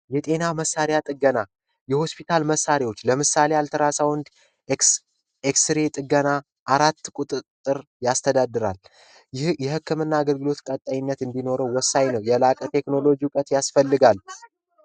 የጤና መሳሪያ ጥገና የሆስፒታል መሳሪያዎች ለምሳሌ አልትራሳውንድ ፣ኤክስሬይ ጥገና አራት ቁጥጥር ያስተዳድራል። ይህ የህክምና አገልግሎት ቀጣይነት እንዲኖረው ወሳኝ ነው። የላቀ ቴክኖሎጂ እውቀት ያስፈልጋል።